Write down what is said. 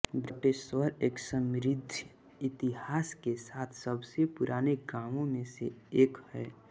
बटेश्वर एक समृद्ध इतिहास के साथ सबसे पुराने गांवों में से एक है